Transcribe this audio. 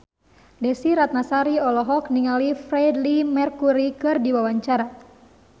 Desy Ratnasari olohok ningali Freedie Mercury keur diwawancara